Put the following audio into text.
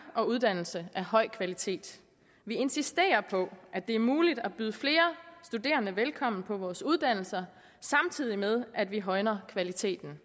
og uddannelse af høj kvalitet vi insisterer på at det er muligt at byde flere studerende velkommen på vores uddannelser samtidig med at vi højner kvaliteten